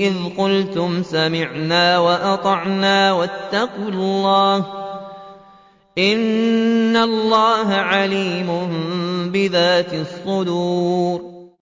إِذْ قُلْتُمْ سَمِعْنَا وَأَطَعْنَا ۖ وَاتَّقُوا اللَّهَ ۚ إِنَّ اللَّهَ عَلِيمٌ بِذَاتِ الصُّدُورِ